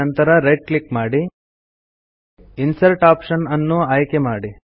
ನಂತರ right click ಮಾಡಿ insert option ಅನ್ನು ಆಯ್ಕೆ ಮಾಡಿ